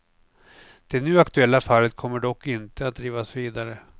Det nu aktuella fallet kommer dock inte att drivas vidare.